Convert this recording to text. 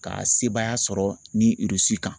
Ka sebaaya sɔrɔ ni kan.